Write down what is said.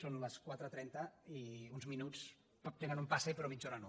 són les quatre cents i trenta i uns minuts tenen un pase però mitja hora no